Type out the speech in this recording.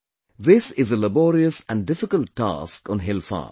This is a laborious and difficult task on hill farms